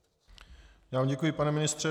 Já vám děkuji, pane ministře.